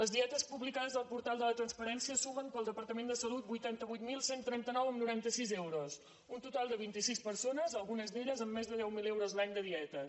les dietes publicades al portal de la transparència sumen per al departament de salut vuitanta vuit mil cent i trenta nou coma noranta sis euros un total de vint·i·sis persones algu·nes d’elles amb més de deu mil euros l’any de dietes